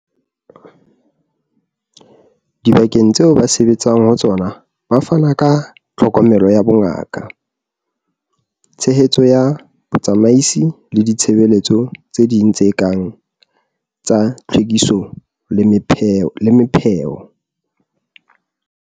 Dibakeng tseo ba sebetsang ho tsona ba fana ka tlhokomelo ya bongaka, tshehetso ya botsamaisi le ditshebeletso tse ding tse kang tsa tlhwekiso le mepheo.